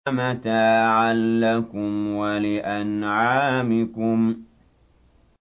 مَتَاعًا لَّكُمْ وَلِأَنْعَامِكُمْ